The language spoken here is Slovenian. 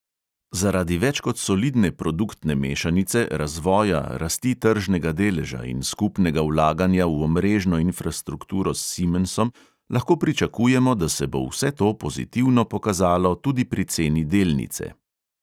Zaradi več kot solidne produktne mešanice, razvoja, rasti tržnega deleža in skupnega vlaganja v omrežno infrastrukturo s simensom lahko pričakujemo, da se bo vse to pozitivno pokazalo tudi pri ceni delnice.